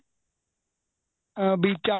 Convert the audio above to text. ਅਹ ਵੀ